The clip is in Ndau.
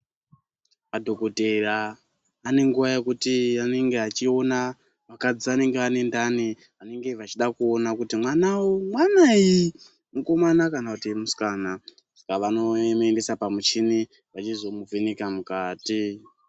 Madhokodheya anenguwa yekuti anenge achiona vakadzi vanenge vane ndani vanenge vachida kuona kuti mwana uyu mwanayi, mukomana kana kuti musikana. Saka vanomuendesa pamuchini vachizomuvheneka mukati.